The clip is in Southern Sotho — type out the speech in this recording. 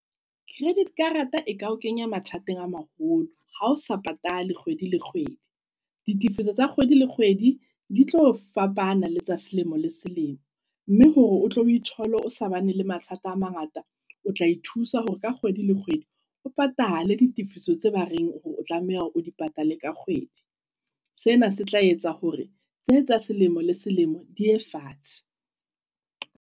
Credit karata eka o kenya mathateng a maholo ha osa patale kgwedi le kgwedi. Ditefiso tsa kgwedi le kgwedi ditlo fapana letsa selemo le selemo. Mme hore o tle o ithole osa bane le mathata a mangata, otla ithusa hore ka kgwedi le kgwedi o patale ditifiso tsa ba reng otlameha o di patale ka kgwedi. Tsena se tla etsa hore tse tsa selemo le selemo di ye fatshe.